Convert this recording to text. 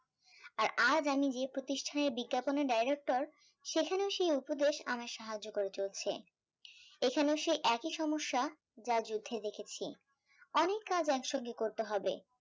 আর আজ আমি যে প্রতিষ্টান এর বিজ্ঞাপন এর director সেখানেও সে উপদেশ আমায় সাহায্য করে চলেছে এখানেও সেই একই সমস্যা যা যুদ্ধে দেখেছি অনেক কাজ এক সঙ্গে করতে হবে